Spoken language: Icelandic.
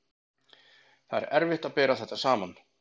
Það er erfitt að bera þetta saman.